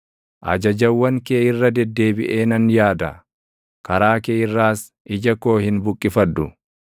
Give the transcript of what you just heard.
Ajajawwan kee irra deddeebiʼee nan yaada; karaa kee irraas ija koo hin buqqifadhu.